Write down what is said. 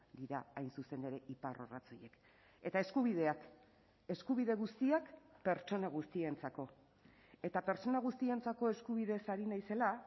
dira hain zuzen ere iparrorratz horiek eta eskubideak eskubide guztiak pertsona guztientzako eta pertsona guztientzako eskubideez ari naizela